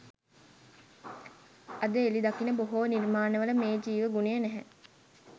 අද එළි දකින බොහෝ නිර්මාණවල මේ ජීව ගුණය නැහැ